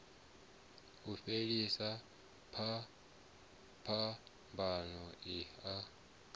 u fhelisa phambano i a